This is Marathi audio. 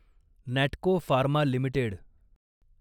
Natco pharma limited